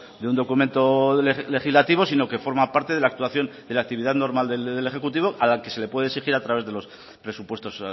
de un documento legislativo forma parte de la actividad normal del ejecutivo a la que se le puede exigir a través de los presupuestos